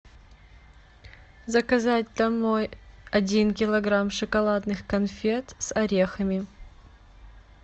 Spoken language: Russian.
заказать домой один килограмм шоколадных конфет с орехами